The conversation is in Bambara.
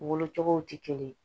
Wolo cogow tɛ kelen ye